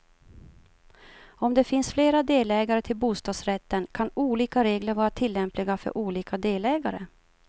Om det finns flera delägare till bostadsrätten, kan olika regler vara tillämpliga för olika delägare.